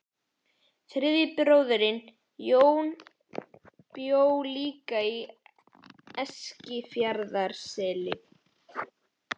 Þriðji bróðirinn, Jón, bjó líka í Eskifjarðarseli.